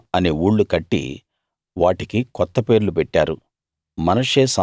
Shibmah అనే ఊళ్లు కట్టి వాటికి కొత్త పేర్లు పెట్టారు